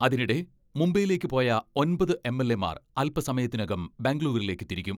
അതിനിടെ മുംബൈയിലേക്ക് പോയ ഒമ്പത് എം.എൽ.എമാർ അൽപ സമ യത്തിനകം ബംഗുളൂരുവിലേക്ക് തിരിക്കും.